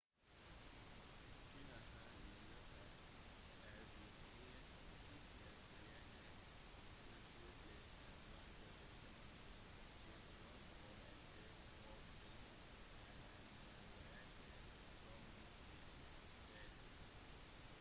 kina har i løpet av de tre siste tiårene utviklet en markedsøkonomi til tross for at det offisielt er en gjenværende kommunistisk stat